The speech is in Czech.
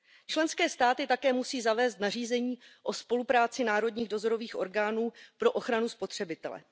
Členské státy také musí zavést nařízení o spolupráci národních dozorových orgánů pro ochranu spotřebitele.